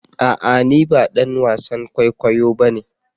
A'a! Ni ba dan wasan kwaikwayo ba ne.